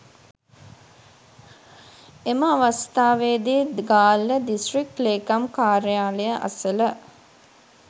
එම අවස්ථාවේදී ගාල්ල දිස්ත්‍රික් ලේකම් කාර්යාලය අසල